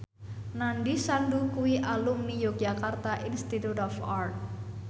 Nandish Sandhu kuwi alumni Yogyakarta Institute of Art